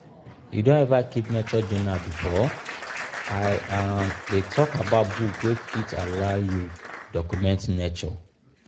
you don ever keep nature journal before? i um dey talk about book wey fit allow you document nature.